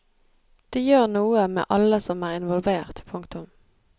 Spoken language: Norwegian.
Det gjør noe med alle som er involvert. punktum